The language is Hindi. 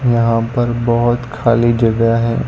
यहां पर बहोत खाली जगह है।